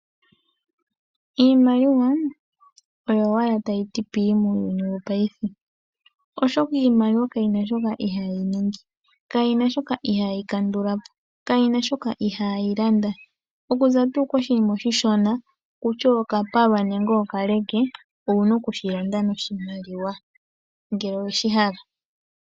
Iimaliwa oyo owala tayi ti pii muuyuni awuhe , oshoka iimaliwa kayina shoka ihayi ningi, kayina shoka ihayi kandula po, kayina shoka ihaayi landa. Okuza tu koshinima oshi shona kutya okapalwa nenge okaleke owuna okushi landa noshimaliwa ngele oweshi hala.